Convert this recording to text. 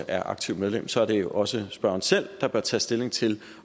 er aktivt medlem så er det jo også spørgeren selv der bør tage stilling til